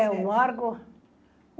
É o Marco.